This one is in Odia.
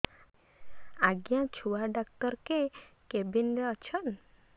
ଆଜ୍ଞା ଛୁଆ ଡାକ୍ତର କେ କେବିନ୍ ରେ ଅଛନ୍